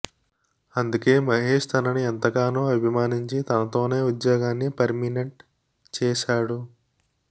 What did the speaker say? అందుకే మహేష్ తనని ఎంతగానో అభిమానించి తనతోనే ఉద్యోగాన్ని పర్మినెంట్ చేశాడు